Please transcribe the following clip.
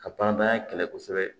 Ka panpara kɛ kɛlɛ kosɛbɛ